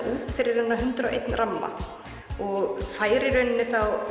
út fyrir þennan hundrað og einum ramma og færa í raunina